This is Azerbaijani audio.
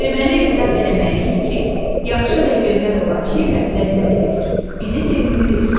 Deməli etiraf eləməliyik ki, yaxşı və gözəl olan şeylər ləzzət verir, bizi sevindirir.